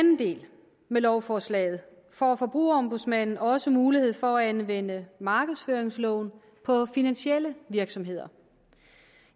med lovforslaget får forbrugerombudsmanden også mulighed for at anvende markedsføringsloven på finansielle virksomheder